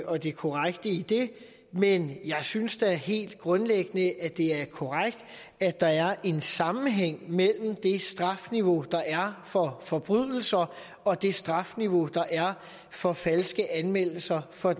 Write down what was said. og det korrekte i det men jeg synes da helt grundlæggende at det er korrekt at der er en sammenhæng mellem det strafniveau der er for forbrydelser og det strafniveau der er for falske anmeldelser for